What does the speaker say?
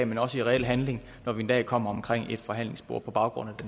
men også i reel handling når vi en dag kommer ind omkring et forhandlingsbord på baggrund af det